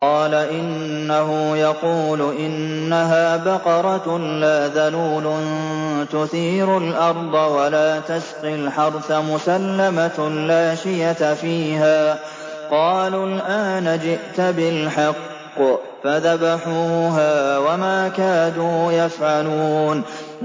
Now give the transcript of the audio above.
قَالَ إِنَّهُ يَقُولُ إِنَّهَا بَقَرَةٌ لَّا ذَلُولٌ تُثِيرُ الْأَرْضَ وَلَا تَسْقِي الْحَرْثَ مُسَلَّمَةٌ لَّا شِيَةَ فِيهَا ۚ قَالُوا الْآنَ جِئْتَ بِالْحَقِّ ۚ فَذَبَحُوهَا وَمَا كَادُوا يَفْعَلُونَ